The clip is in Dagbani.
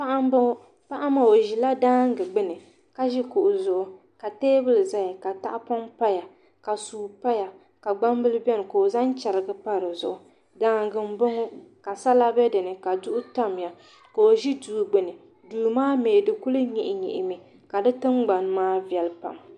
Paɣa n boŋo paɣa maa o ʒila daangi gbuni ka ʒi kuɣu zuɣu ka teebuli ʒɛya ka tahapoŋ paya ka suu paya ka gbambili bɛni ka o zaŋ chɛrigi pa dizuɣu daangi n boŋo ka sala bɛ dinni ka duɣu tamya ka o ʒi duu gbuni duu maa mii di kuli nyihi nyihi mi ka di tingbani maa viɛli pam